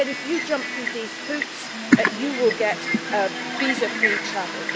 We said, if you jump through these hoops, you will get visa free travel.